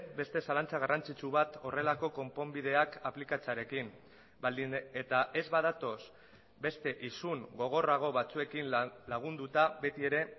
beste zalantza garrantzitsu bat horrelako konponbideak aplikatzearekin baldin eta ez badatoz beste isun gogorrago batzuekin lagunduta beti ere